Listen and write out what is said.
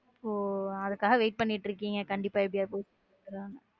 ஓஹ அதுக்காக wait பண்ணிக்கிட்டு இருக்கீங்க கண்டிப்பா எப்படிடா posting கொடுத்துடுவாங்க.